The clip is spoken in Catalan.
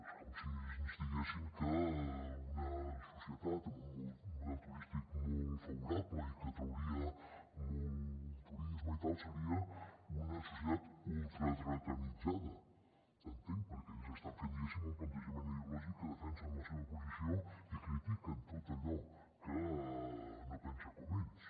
és com si ens diguessin que una societat amb un model turístic molt favorable i que atrauria molt turisme i tal seria una societat ultradretalitzada entenc perquè ells estan fent diguéssim un plantejament ideològic amb què defensen la seva posició i critiquen tot allò que no pensa com ells